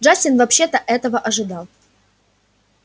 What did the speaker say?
джастин вообще-то этого ожидал